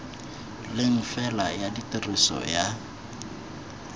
leng fela ya tiriso ya